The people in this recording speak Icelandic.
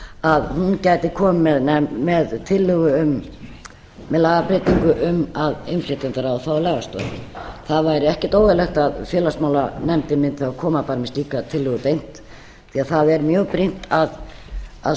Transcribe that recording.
að hún gæti komið með tillögu um lagabreytingu um að innflytjendaráð fái lagastoð það væri ekkert óeðlilegt að félagsmálanefndin mundi þá koma fram með slíka tillögu beint því að það er mjög brýnt að